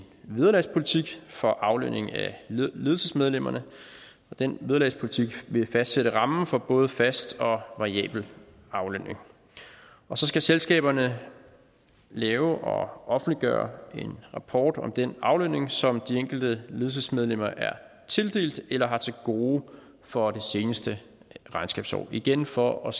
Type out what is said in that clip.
vederlagspolitik for aflønning af ledelsesmedlemmerne og den vederlagspolitik vil fastsætte rammen for både fast og variabel aflønning og så skal selskaberne lave og offentliggøre en rapport om den aflønning som de enkelte ledelsesmedlemmer er tildelt eller har til gode for det seneste regnskabsår og igen for at